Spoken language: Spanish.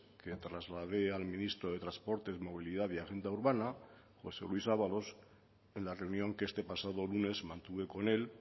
que trasladé al ministro de transportes movilidad y agenda urbana josé luis ábalos en la reunión que este pasado lunes mantuve con él